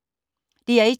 DR1